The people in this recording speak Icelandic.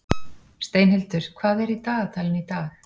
Steinhildur, hvað er í dagatalinu í dag?